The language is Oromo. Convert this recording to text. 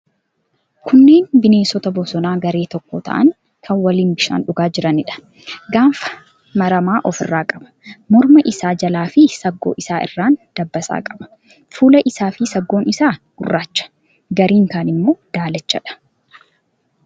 Kunneen bineensota bosonaa garee tokko ta'an kan waliin bishaan dhugaa jiraniidha. Gaanfa maramaa ofirraa qaba. Morma isaa jalaafi saggoo isaa irraan dabbasaa qaba. Fuulli isaafi saggoon isaa gurraacha. Garri kaan immoo daalachadha.